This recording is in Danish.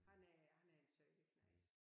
Han er han er en sød knægt